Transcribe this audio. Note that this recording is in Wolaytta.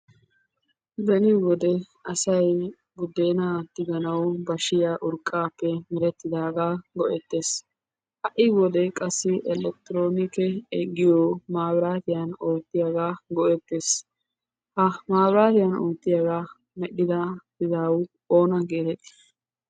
Beni wode asaybudena tiganaw bashiyaa urqqappe meretidaaga go"eetes. Ha'i wode qassi elekitronike giyo mabaritiyan oottiyaaga go''ettees. Ha mabratiyan oottiyaaga medhdhada izawu oona getetti?